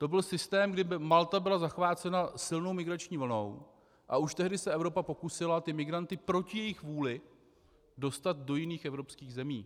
To byl systém, kdy Malta byla zachvácena silnou migrační vlnou, a už tehdy se Evropa pokusila ty migranty proti jejich vůli dostat do jiných evropských zemí.